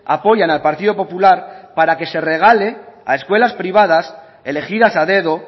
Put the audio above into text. apoyan al partido popular para que se regale a escuelas privadas elegidas a dedo